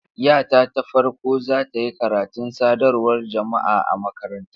Yata ta farko za ta yi karatun sadarwar jama'a a makaranta.